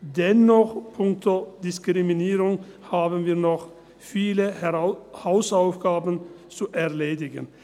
Dennoch, punkto Diskriminierung haben wir noch viele Hausaufgaben zu erledigen.